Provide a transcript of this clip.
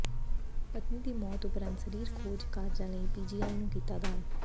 ਪਤਨੀ ਦੀ ਮੌਤ ਉਪਰੰਤ ਸਰੀਰ ਖੋਜ ਕਾਰਜਾਂ ਲਈ ਪੀਜੀਆਈ ਨੂੰ ਕੀਤਾ ਦਾਨ